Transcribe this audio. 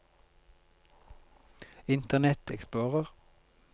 internet explorer